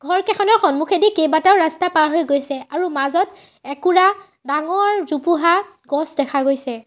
ঘৰ কেইখনৰ সন্মুখেদি কেইবাটাও ৰাস্তা পাৰ হৈ গৈছে আৰু মাজত একুৰা ডাঙৰ জোপোহা গছ দেখা গৈছে।